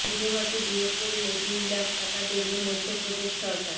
বিধবাকে বিয়ে করলে দুই লাখ টাকা দেবে মধ্যপ্রদেশ সরকার